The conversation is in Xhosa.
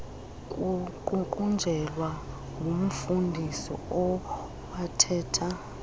kuququnjelwa ngumfundisi owathetha